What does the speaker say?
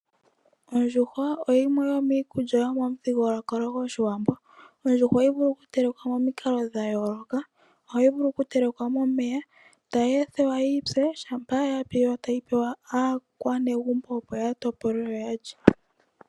Ondjuhwa oyimwe yomiikulya yomuthigulukalo gOshiwambo, ondjuhwa ohayi vulu okutelekwa monikalo dha yooloka ohayi vulu okutelekwa momeya tayi ethiwa yipye shampa yo tayi pewa aakwanegumbo opo ya topole yo yalye.